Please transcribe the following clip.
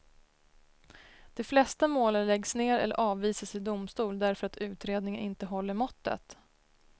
De flesta målen läggs ned eller avvisas i domstol därför att utredningen inte håller måttet.